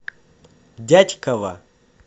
дятьково